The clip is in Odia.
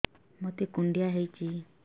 ମୋତେ କୁଣ୍ଡିଆ ହେଇଚି